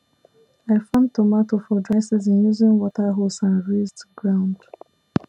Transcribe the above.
i farm tomato for dry season using water hose and raised ground